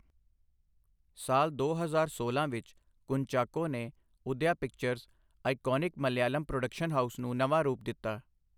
ਸਾਲ ਦੋ ਹਜ਼ਾਰ ਸੋਲਾਂ ਵਿੱਚ ਕੁੰਚਾਕੋ ਨੇ Udaya Pictures, iconic Malayalam production house ਨੂੰ ਨਵਾਂ ਰੂਪ ਦਿੱਤਾ।